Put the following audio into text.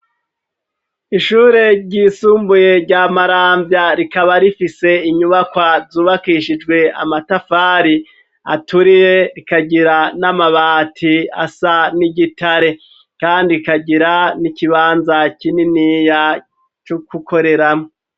Ishure ryisumbuye rya maramvya ,rikaba rifise inyubakwa zubakishijwe amatafari aturiye ,rikagira n'amabati asa n'igitare, kandi rikagira n'ikibanza kininiya, cokukoreramwo.